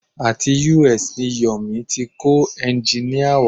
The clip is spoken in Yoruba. Àti US ni Yomi ti kó ẹ́ngìnì wá.